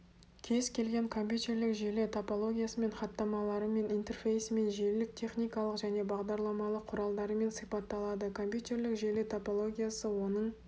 кез-келген компьютерлік желі топологиясымен хатамаларымен интерфейсімен желілік техникалық және бағдарламалық құралдарымен сипатталады компьютерлік желі топологиясы оның